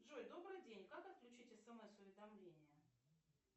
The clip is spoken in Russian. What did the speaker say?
джой добрый день как отключить смс уведомления